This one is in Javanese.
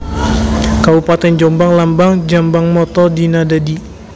Kabupatèn JombangLambang JombangMotto Dina Dadi